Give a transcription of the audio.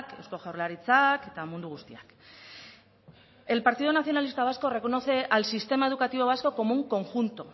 eusko jaurlaritzak eta mundu guztiak el partido nacionalista vasco reconoce al sistema educativo vasco como un conjunto